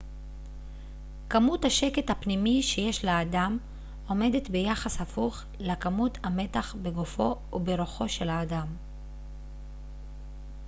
כמות השקט הפנימי שיש לאדם עומדת ביחס הפוך לכמות המתח בגופו וברוחו של האדם